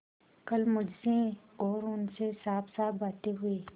कल मुझसे और उनसे साफसाफ बातें हुई